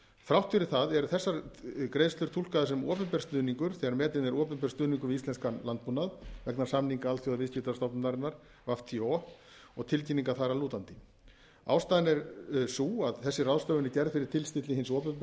þrátt fyrir það eru þessar greiðslur túlkaðar sem opinber stuðningur þegar metinn er opinber stuðningur við íslenskan landbúnað vegna samninga alþjóðaviðskiptastofnunarinnar wto og tilkynninga þar að lútandi ástæðan er sú að þessi ráðstöfun er gerð fyrir tilstilli hins opinbera með löggjöf